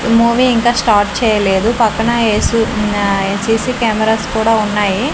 Movie ఇంకా start చేయలేదు పక్కన ఏ_సి ఉన్నాయ్ సి_సీ కెమరాస్ కూడా ఉన్నాయి.